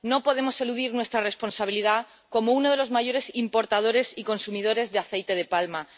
no podemos eludir nuestra responsabilidad como uno de los mayores importadores y consumidores de aceite de palma.